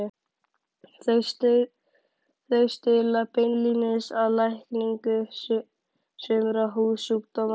Þau stuðla beinlínis að lækningu sumra húðsjúkdóma.